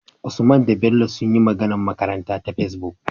Usman da Bello sunyi magAnar makaranta ta Facebook